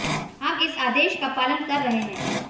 हम इस आदेश का पालन कर रहे हैं